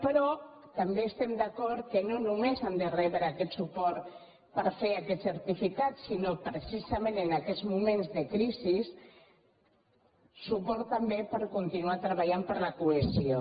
però també estem d’acord que no només han de rebre aquest suport per fer aquest certificat sinó precisament en aquests moments de crisi suport també per continuar treballant per la co·hesió